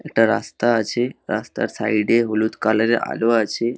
একটা রাস্তা আছে রাস্তার সাইড এ হলুদ কালার এর আলো আছে।